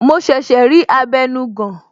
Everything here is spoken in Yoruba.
Mo ṣẹ̀ṣẹ̀ rí abenugan